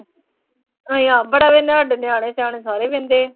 ਆਏਂ ਆ ਬੜਾ ਇਨ੍ਹਾਂ ਦੇ ਨਿਆਣੇ, ਸਿਆਣੇ ਸਾਰੇ ਵਿੰਹਦੇ ਆ।